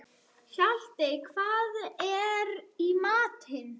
Hjaltey, hvað er í matinn?